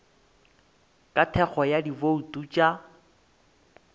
ka thekgo ya dibouto tša